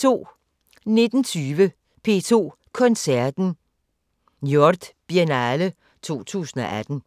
19:20: P2 Koncerten: Njord-Biennale 2018